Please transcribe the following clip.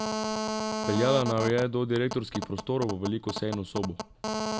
Peljala naju je do direktorskih prostorov v veliko sejno sobo.